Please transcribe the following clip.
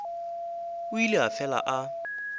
o ile a fela a